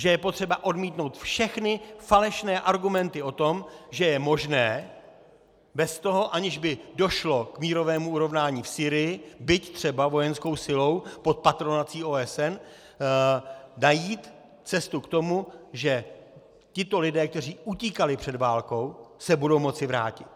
Že je potřeba odmítnout všechny falešné argumenty o tom, že je možné bez toho, aniž by došlo k mírovému urovnání v Sýrii, byť třeba vojenskou silou pod patronací OSN, najít cestu k tomu, že tito lidé, kteří utíkali před válkou, se budou moci vrátit.